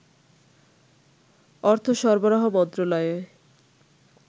অর্থ সরবরাহ মন্ত্রণালয়ে